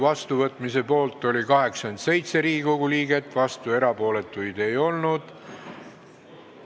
Hääletustulemused Poolt oli 87 Riigikogu liiget, vastuolijaid ega erapooletuid ei olnud.